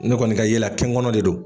Ne kɔni ka yɛ la kɛnkɔnɔ de don.